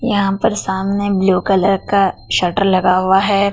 यहां पर सामने ब्लू कलर का शटर लगा हुआ हैं।